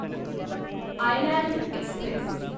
island Express